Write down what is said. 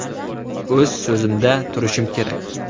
O‘z so‘zimda turishim kerak.